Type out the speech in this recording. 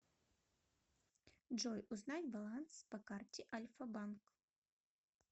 джой узнать баланс по карте альфа банк